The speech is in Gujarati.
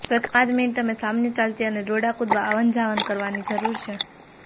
પ્રથમ પાંચ મિનિટ તમે સામાન્ય ચાલતી અને દોરડા કૂદવા આવનજાવન કરવાની જરૂર છે